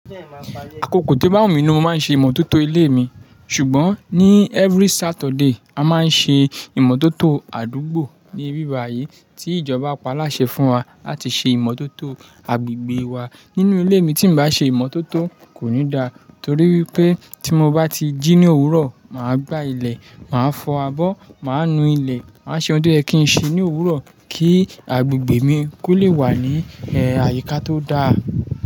Àkókò tí ó bá wù mí ni mo máa ń ṣe ìmọ̀tótó ilé mi. Ṣùgbọ́n ní every Saturday, a máa ń ṣe ìmọ̀tótó àdúgbò ní bíba yìí tí ìjọba pàládà ṣe fún wa láti ṣe ìmọ̀tótó agbègbè wa. Nínú ilé mi tí mo bá ṣe ìmọ̀tótó kò ní da torí wípé tí mo bá ti jí ní òwúrọ̀, màá gbá ilẹ̀, màá fọ abọ́, màá nu ilẹ̀, màá ṣe ohun tó yẹ kí ń ṣe ní òwúrọ̀ kí agbègbè mi kó lè wà ní, ẹ, àyíká tó da.